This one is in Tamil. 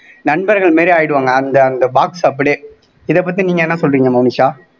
நண்பர்கள் மாதிரி ஆயிடுவாங்க அந்த அந்த box அப்படியே இதை பத்தி நீங்க என்ன சொல்றீங்க மோனிஷா